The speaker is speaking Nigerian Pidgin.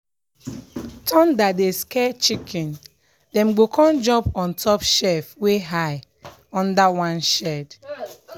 thunder dey scare chicken dem go come jump on top shelf wey high under one shade.